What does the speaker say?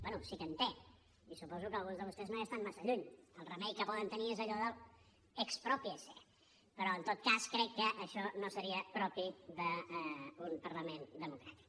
bé sí que en té i suposo que alguns de vostès no hi estan massa lluny el remei que poden tenir és allò de l’ exprópiese però en tot cas crec que això no seria propi d’un parlament democràtic